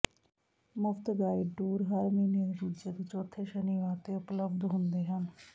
ਮੁਫ਼ਤ guide tour ਹਰ ਮਹੀਨੇ ਦੇ ਦੂਜੇ ਅਤੇ ਚੌਥੇ ਸ਼ਨੀਵਾਰ ਤੇ ਉਪਲਬਧ ਹੁੰਦੇ ਹਨ